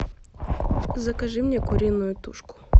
закажи мне куриную тушку